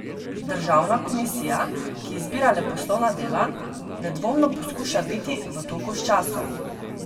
Državna komisija, ki izbira leposlovna dela, nedvomno poskuša biti v toku s časom.